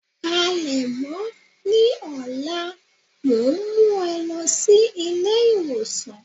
Palèmọ́, ní ọlá mọ ń mú ẹ lọ sí ilé ìwòsàn.